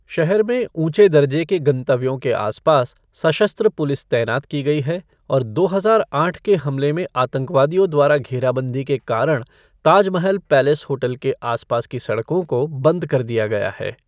शहर में ऊँचे दर्जे के गंतव्यों के आसपास सशस्त्र पुलिस तैनात की गई है, और दो हजार आठ के हमले में आतंकवादियों द्वारा घेराबंदी के कारण ताजमहल पैलेस होटल के आसपास की सड़कों को बंद कर दिया गया है।